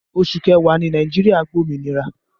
Oṣù kẹwàá ni Nàìjíríà gba òmìnira